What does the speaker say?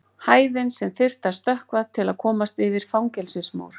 hæðin sem þyrfti að stökkva til að komast yfir fangelsismúr